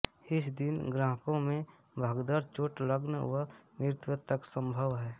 इस दिन ग्राहकों में भगदड़ चोट लग्न वा मृत्यु तक संभव है